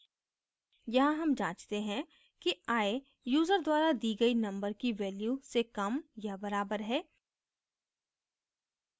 यहाँ हम जाँचते हैं कि i यूजर द्वारा दी गई number की value से कम या बराबर है